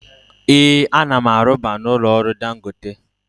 Ee, ana m arubu na ụlọ ọrụ Dangote.